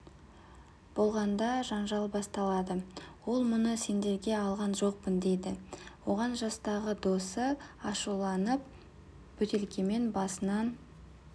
болғанда жанжал басталады ол мұны сендерге алған жоқпын дейді оған жастағы досы ашуланып бөтелкемен басынан